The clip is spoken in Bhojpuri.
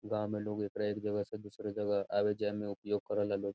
गांव में लोग एकरा एक जगह से दूसरे जगह आवे जाये में उपयोग करेला लोग।